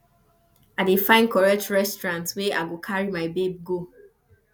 i dey find correct restaurant wey i go carry my babe go